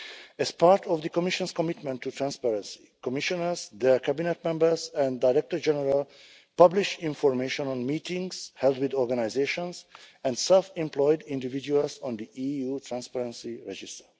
As part of the Commission's commitment to transparency, the Commissioners, their Cabinet members and Directors-General publish information on meetings held with organisations and self employed individuals on the EU Transparency Register.